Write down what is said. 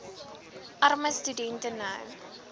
armer studente nou